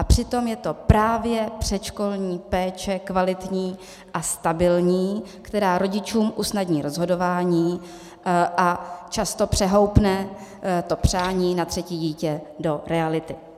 A přitom je to právě předškolní péče, kvalitní a stabilní, která rodičům usnadní rozhodování a často přehoupne to přání na třetí dítě do reality.